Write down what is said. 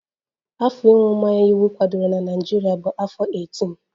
Afọ ịṅụ mmanya iwu kwadoro na Naịjirịa bụ afọ 18